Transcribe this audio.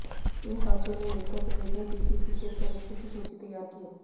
इन पांचों ने मिलकर प्रदेश में पीसीसी के सदस्यों की सूची तैयार की